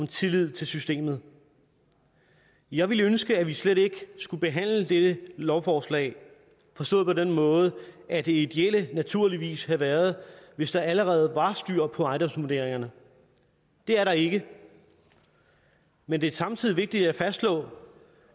tillid til systemet jeg ville ønske at vi slet ikke skulle behandle dette lovforslag forstået på den måde at det ideelle naturligvis havde været hvis der allerede var styr på ejendomsvurderingerne det er der ikke men det er samtidig vigtigt at fastslå